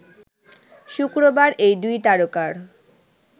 শুক্রবার এই দুই তারকার